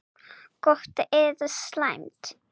Gott eða slæmt?